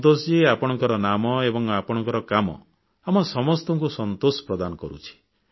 ସନ୍ତୋଷଜୀ ଆପଣଙ୍କ ନାମ ଏବଂ ଆପଣଙ୍କ କାମ ଆମ ସମସ୍ତଙ୍କୁ ସନ୍ତୋଷ ପ୍ରଦାନ କରୁଛି